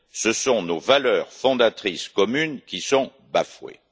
Ce sont nos valeurs fondatrices communes qui sont bafouées.